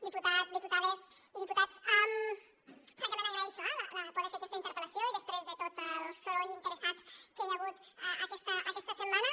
diputat diputades i diputats francament agraeixo eh poder fer aquesta interpel·lació i després de tot el soroll interessat que hi ha hagut aquesta setmana